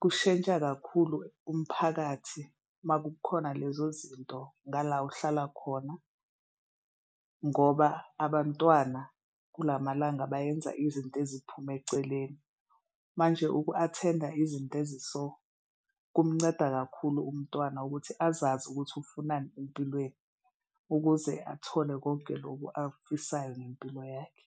kushintsha kakhulu umphakathi uma kukhona lezo zinto ngala uhlala khona ngoba abantwana kulamalanga bayenza izinto eziphume eceleni manje uku-attend-a izinto ezi so kumnceda kakhulu umntwana ukuthi azazi ukuthi ufunani empilweni ukuze athole konke loku akufisayo ngempilo yakhe.